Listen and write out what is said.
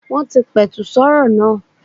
Wọ́n ti pẹ̀tù sọ́rọ̀ náà.